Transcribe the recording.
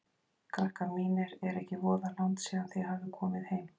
Krakkar mínir, er ekki voða langt síðan þið hafið komið heim?